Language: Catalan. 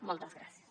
moltes gràcies